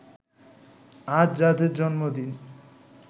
আজ যাদের জন্মদিন